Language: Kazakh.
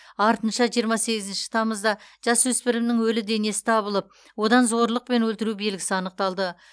артынша жиырма сегізінші тамызда жасөсіпірімнің өлі денесі табылып одан зорлықпен өлтіру белгісі анықталды